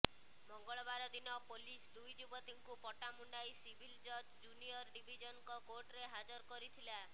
ମଙ୍ଗଳବାର ଦିନ ପୋଲିସ ଦୁଇ ଯୁବତୀଙ୍କୁ ପଟ୍ଟାମୁଣ୍ଡାଇ ସିଭିଲ ଜଜ୍ ଜୁନିୟର ଡିଭିଜନଙ୍କ କୋର୍ଟରେ ହାଜର କରିଥିଲା